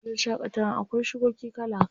Wani wajen shaƙatawan akwai shukoki kala kala.